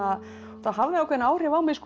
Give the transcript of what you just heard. það hafði ákveðin áhrif á mig